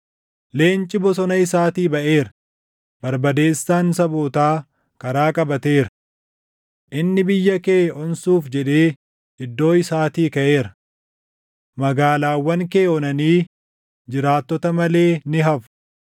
Leenci bosona isaatii baʼeera; barbadeessaan sabootaa karaa qabateera. Inni biyya kee onsuuf jedhee iddoo isaatii kaʼeera. Magaalaawwan kee onanii jiraattota malee ni hafu.